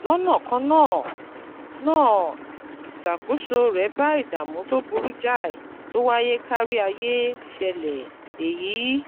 Lọ́nà kan náà, náà, ìṣàkóso rẹ̀ bá ìdààmú tó burú jáì tó wáyé kárí ayé ṣẹlẹ̀, èyí